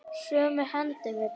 Sumu hendum við bara.